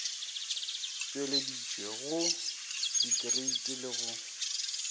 tšweleditšwe go dikreiti le go